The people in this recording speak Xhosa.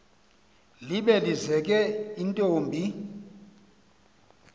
libe lizeke intombi